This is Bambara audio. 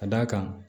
Ka d'a kan